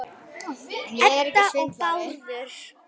Edda og Bárður.